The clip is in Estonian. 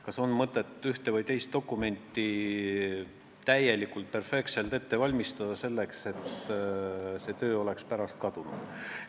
Kas on mõtet ühte või teist dokumenti perfektselt ette valmistada, kui pole teada, ega see töö pärast kaduma ei lähe?